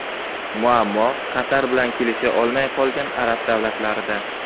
Muammo Qatar bilan kelisha olmay qolgan arab davlatlarida.